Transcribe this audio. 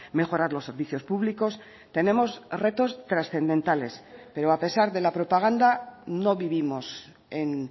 mejorar los servicios públicos tenemos retos trascendentales pero a pesar de la propaganda no vivimos en